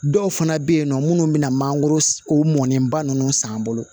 Dɔw fana bɛ yen nɔ minnu bɛna mangoro o mɔnnenba ninnu san bolo